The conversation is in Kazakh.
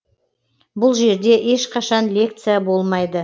бұл жерде ешқашан лекция болмайды